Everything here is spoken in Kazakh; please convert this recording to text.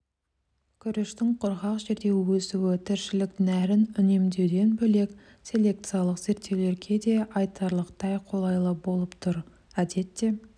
күріштің құрғақ жерде өсуі тіршілік нәрін үнемдеуден бөлек селекциялық зерттеулерге де айтарлықтай қолайлы болып тұр әдетте